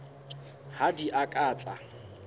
ha di a ka tsa